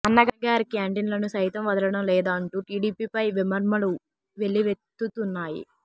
అన్నగారి క్యాంటిన్లని సైతం వదలడం లేదా అంటూ టీడీపీ పై విమర్శలు వెల్లివెత్తుతున్నాయి